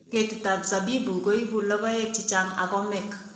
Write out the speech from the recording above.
Ketitap zabibu kuibu lokoek chichang ak komek